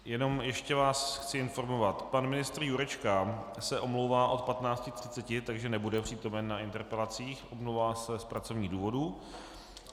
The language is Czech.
Jenom ještě vás chci informovat - pan ministr Jurečka se omlouvá od 15.30, takže nebude přítomen na interpelacích, omlouvá se z pracovních důvodů.